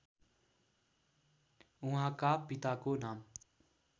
उहाँका पिताको नाम